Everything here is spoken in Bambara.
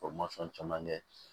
caman kɛ